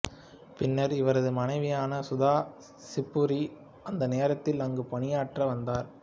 பின்னர் இவரது மனைவியான சுதா சிவ்புரி அந்த நேரத்தில் அங்கு பணியாற்றி வந்தார்